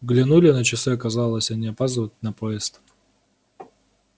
глянули на часы оказалось они опаздывают на поезд